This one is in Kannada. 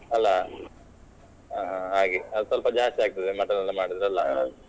ಅಲ್ಲ ಹಾಗೆ ಅದು ಸ್ವಲ್ಪ ಜಾಸ್ತಿಯಾಗ್ತದೆ mutton ಎಲ್ಲ ಮಾಡಿದ್ರೆ ಅಲ್ಲಾ.